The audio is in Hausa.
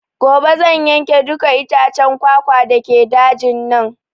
Gobe zan yanke dukka itaccen kwakwa dake dajin nan